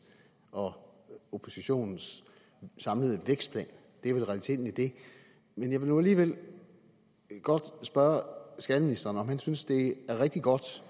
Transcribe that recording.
og oppositionens samlede vækstplan det er vel realiteten i det jeg vil nu alligevel godt spørge skatteministeren om han synes at det er rigtig godt